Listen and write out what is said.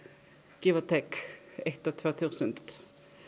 give or take eitt og tvö þúsund